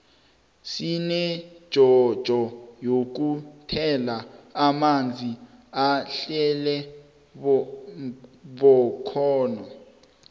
sinejojo yokuthela amanzi ahlale bkhona